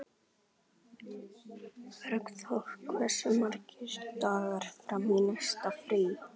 Bergþór, hversu margir dagar fram að næsta fríi?